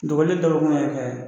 Dɔgɔlen dɔgɔkun y'a kɛ